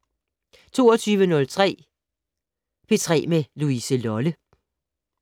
22:03: P3 med Louise Lolle